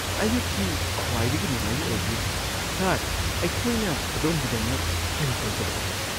ꯑꯌꯨꯛꯀꯤ ꯈ꯭ꯋꯥꯏꯗꯒꯤ ꯅꯨꯡꯉꯥꯏꯕ ꯑꯣꯏꯕꯤꯌꯨ ꯫ ꯁꯔ, ꯑꯩꯈꯣꯏꯅ ꯑꯗꯣꯝꯒꯤꯗꯃꯛ ꯀꯔꯤ ꯇꯧꯖꯔꯛꯎꯒꯦ? (ꯄꯨꯂꯤꯁ)